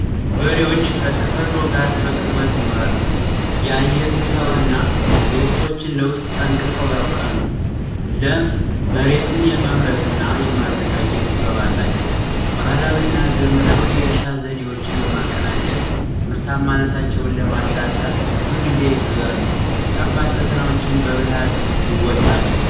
በሪዎች ከተፈጥሮ ጋር በቅርበት ይኖራሉ የአየር ሁኔታውንና የወቅቶችን ለውጥ ጠንቅቀው ያውቃሉ ለመሬትን የመምረጥና የማዘጋጀት ጥበብ አላቸው ባህላዊና ዘመናዊ እርሻ ዘዴዎችን በማቀናጀ ምርታማነታቸውን ለማሻሻል ሁልጊዜ ይተጋሉ ከባድ ፈተናዎችን በብልሃት ይወጣሉ።